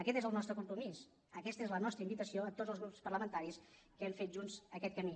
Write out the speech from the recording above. aquest és el nostre compromís aquesta és la nostra invitació a tots els grups parlamentaris que hem fet junts aquest camí